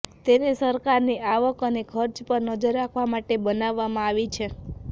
તેને સરકારની આવક અને ખર્ચ પર નજર રાખવા માટે બનાવવામાં આવી છે